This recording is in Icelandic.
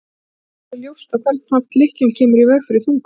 Það er ekki alveg ljóst á hvern hátt lykkjan kemur í veg fyrir þungun.